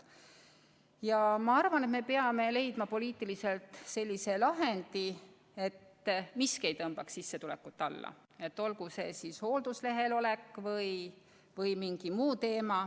Ma arvan, et me peame leidma poliitiliselt sellise lahendi, et miski ei tõmbaks sissetulekut alla, olgu see siis hoolduslehel olemine või midagi muud.